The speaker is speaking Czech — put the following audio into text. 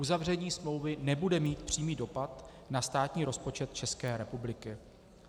Uzavření smlouvy nebude mít přímý dopad na státní rozpočet České republiky.